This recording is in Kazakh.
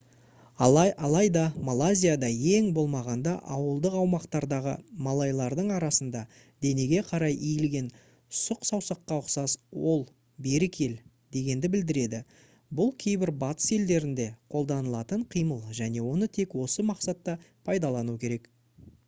алайда малайзияда ең болмағанда ауылдық аумақтардағы малайлардың арасында денеге қарай иілген сұқ саусаққа ұқсас ол «бері кел» дегенді білдіреді бұл кейбір батыс елдерінде қолданылатын қимыл және оны тек осы мақсатта пайдалану керек